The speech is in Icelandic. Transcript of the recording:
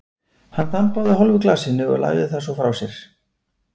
Hann þambaði úr hálfu glasinu og lagði það svo frá sér.